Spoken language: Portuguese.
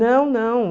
Não, não.